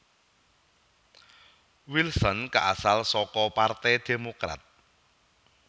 Wilson kaasal saka partai Demokrat